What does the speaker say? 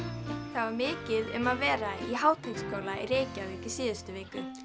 það var mikið um að vera í Háteigsskóla í Reykjavík í síðustu viku